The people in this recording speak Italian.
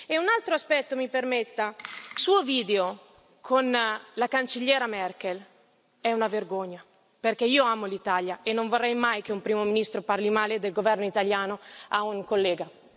E un altro aspetto, mi permetta il suo video con la Cancelliera Merkel è una vergogna, perché io amo l'Italia e non vorrei mai che un Primo Ministro parli male del governo italiano a un collega.